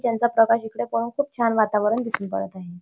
त्यांचा प्रकाश इकडे पडून खूप छान वातावरण दिसून पडत आहे.